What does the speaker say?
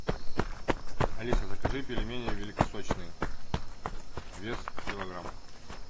алиса закажи пельмени великосочные вес килограмм